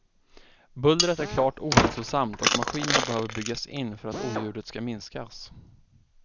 Bullret är klart ohälsosamt och maskinerna behöver byggas in för att oljudet ska minskas.